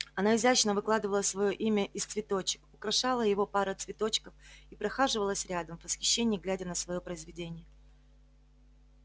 она изящно выкладывала своё имя из цветочек украшала его парой цветочков и прохаживалась рядом в восхищении глядя на своё произведение